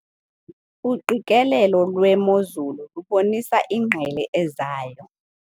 Uqikelelo lwemozulu lubonisa ingqele ezayo.